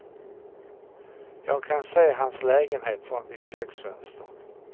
Jag kan se hans lägenhet från mitt köksfönster.